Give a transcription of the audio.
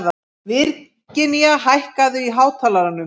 Virginía, hækkaðu í hátalaranum.